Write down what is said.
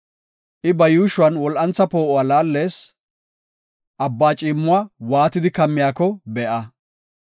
I ba yuushon wol7antha poo7uwa laallees; abba ciimmuwa waatidi kammiyako be7a.